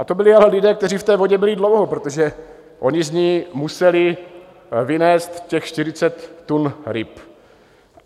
A to byli ale lidé, kteří v té vodě byli dlouho, protože oni z ní museli vynést těch 40 tun ryb.